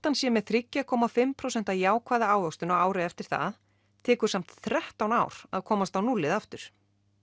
hann sé með þrjú komma fimm prósent jákvæða ávöxtun á ári eftir það tekur samt þrettán ár að komast á núllið aftur